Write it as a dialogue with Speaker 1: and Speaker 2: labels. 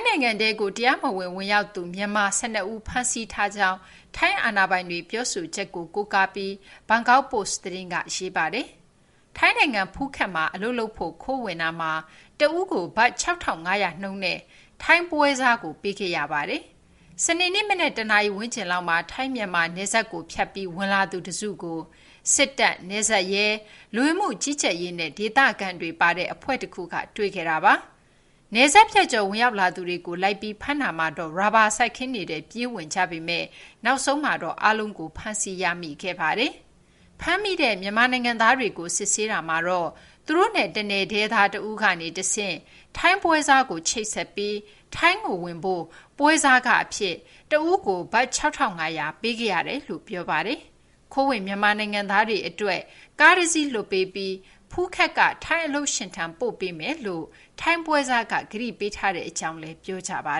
Speaker 1: ိုင်ငံထဲကို တရားမဝင် ဝင်ရောက်သူ မြန်မာ ၁၂ ဦးကို ဖမ်းဆီးထားကြောင်း ထိုင်းအာဏာပိုင်တွေ ပြောဆိုချက်ကို ကိုးကားပြီး Bangkok Post သတင်းက ရေးပါတယ်။ ထိုင်းနိုင်ငံ ဖူးခက်မှာ အလုပ်လုပ်ဖို့ ခိုးဝင်တာမှာ တဦးကို ဘတ် ၆,၅၀၀ နှုန်းနဲ့ ထိုင်းပွဲစားတဦးကို ပေးခဲ့ရပါတယ်။ စနေနေ့ မနက် ၁ နာရီ ဝန်းကျင်လောက်မှာ ထိုင်း-မြန်မာ နယ်စပ်ကို ဖြတ်ပြီး ဝင်လာသူတစုကို စစ်တပ်၊ နယ်စပ်ရဲ၊ လူဝင်မှုကြီးကြပ်ရေးနဲ့ ဒေသခံတွေပါတဲ့ အဖွဲ့တခုက တွေ့ခဲ့တာပါ။ နယ်စပ်ဖြတ်ကျော် ဝင်ရောက်လာသူတွေကို လိုက်ပြီး ဖမ်းတာမှာတော့ ရာဘာစိုက်ခင်းတွေထဲကို ဝင်ပြေးကြပေမယ့် နောက်ဆုံးမှာတော့ အားလုံးကို ဖမ်းဆီးရမိခဲ့ပါတယ်။ ဖမ်းမိတဲ့ မြန်မာနိုင်ငံသားတွေကို စစ်ဆေးတာမှာတော့ သူတို့နဲ့ တနယ်တည်းသား တဦးကနေတဆင့် ထိုင်းပွဲစားကို ချိတ်ဆက်ပြီး ထိုင်းကိုဝင်ဖို့ ပွဲစားခအဖြစ် တဦးကို ဘတ် ၆,၅၀၀ ပေးခဲ့ရတယ်လို့ ပြောကြပါတယ်။ ခိုးဝင် မြန်မာနိုင်ငံသားတွေအတွက် ကားတစီးလွှတ်ပေးပြီး ဖူးခက်က ထိုင်းအလုပ်ရှင်ထံ ပို့ပေးမယ်လို့ ထိုင်းပွဲစားက ကတိပေးထားတဲ့အကြောင်းလည်း ပြေ
Speaker 2: ာပါ